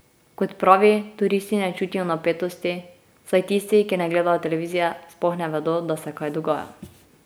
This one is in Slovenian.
Kot pravi, turisti ne čutijo napetosti, saj tisti, ki ne gledajo televizije, sploh ne vedo, da se kaj dogaja.